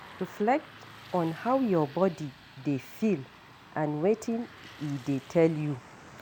Reflect on how your body dey feel and wetin e dey tell you